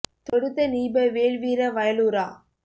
தொடுத்த நீப வேல்வீர வயலூரா